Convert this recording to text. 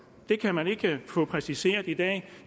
det kan man ikke få præciseret i dag